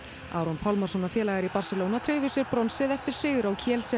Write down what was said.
Aron Pálmarsson og félagar í Barcelona tryggðu sér bronsið eftir sigur á